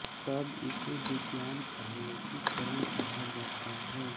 तब इसे विज्ञान का लोकीकरण कहा जाता है